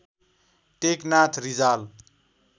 Teknath Rijal